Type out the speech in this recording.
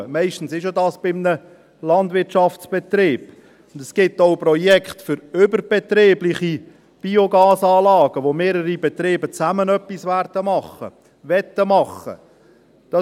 Meistens erfolgt dies bei einem Landwirtschaftsbetrieb, und es gibt auch Projekte für überbetriebliche Biogasanlagen, bei denen mehrere Betriebe zusammen etwas machen werden oder machen wollen.